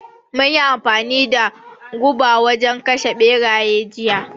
Mun yi amfani da guba wurin kashe ɓeraye jiya